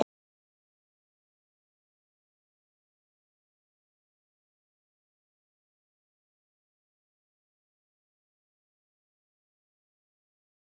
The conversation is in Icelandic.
Það er töluvert álag á leikmenn Vals þessa dagana, hvað finnst Hauki um það?